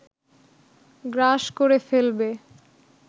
গ্রাস করে ফেলবে